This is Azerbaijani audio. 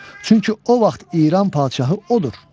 Çünki o vaxt İran padşahı odur.